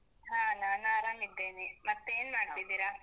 ಹಾ ನಾನ್ ಆರಾಮ್ ಇದ್ದೇನೆ. ಮತ್ತೆ ಏನ್ ಮಾಡ್ತಿದ್ದೀರಾ?